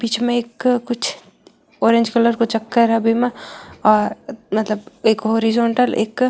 बीच में एक कुछ ऑरेंज कलर को चक्र है बिमे मतलब एक हॉरिजॉन्टल एक --